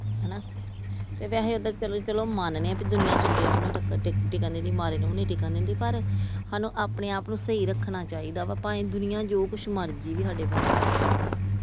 ਹਣਾ ਤੇ ਵੈਸੇ ਚਲੋ ਮੰਨਦੇ ਆ ਦੁਨੀਆਂ ਚੰਗੇ ਨੂੰ ਵੀ ਨੀ ਟਿੱਕਣ ਦਿੰਦੀ ਮਾੜੇ ਨੂੰ ਵੀ ਨੀ ਟਿੱਕਣ ਦਿੰਦੀ ਪਰ ਸਾਨੂੰ ਆਪਣੇ ਆਪ ਨੂੰ ਸਹੀ ਰੱਖਣਾ ਚਾਹੀਦਾ ਭਾਵੇ ਦੁਨੀਆਂ ਜੋ ਕੁੱਝ ਮਰਜੀ ਸਾਡੇ ਵਰਖਲਾਫ਼ ਕਹਿੰਦੀ ਆ ।